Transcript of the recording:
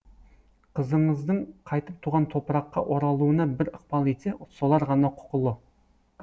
қызыңыздың қайтып туған топыраққа оралуына бір ықпал етсе солар ғана құқылы